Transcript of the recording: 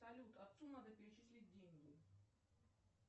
салют отцу надо перечислить деньги